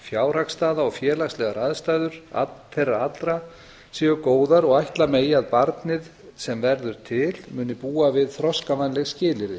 fjárhagsstaða og félagslegar aðstæður þeirra allra séu góðar og að ætli megi að barnið sem verður til muni búa við þroskavænleg skilyrði